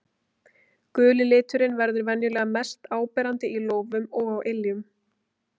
Guli liturinn verður venjulega mest áberandi í lófum og á iljum.